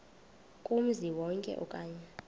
kumzi wonke okanye